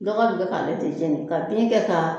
Dɔgɔ de bɛ k'ale de jɛni ka bin kɛ ka